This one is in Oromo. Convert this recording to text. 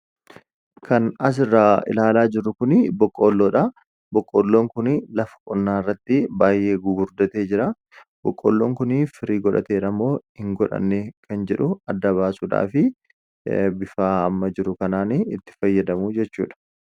kan asirraa ilaalaa jirru kun boqqoolloodha boqqoolloon kunii lafa qonnaa irratti baayyee gugurdatee jira boqqoolloon kunii firii godhateeramoo hin godhanne kan jedhu adda baasuudhaa fi bifaa'ama jiru kanaani itti fayyadamu jechuu dha